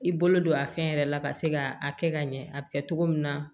I bolo don a fɛn yɛrɛ la ka se ka a kɛ ka ɲɛ a bi kɛ togo min na